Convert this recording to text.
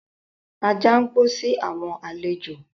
Ajá ń gbó si àwọn àlejò.